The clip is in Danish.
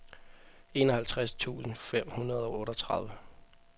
enoghalvtreds tusind fem hundrede og otteogtredive